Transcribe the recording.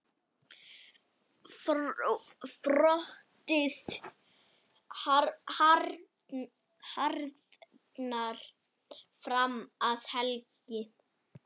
Frostið harðnar fram að helgi.